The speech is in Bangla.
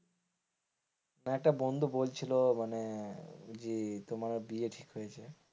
একটা বন্ধু বলছিলো মানে জি ই তোমার বিয়ে ঠিক হয়েছে।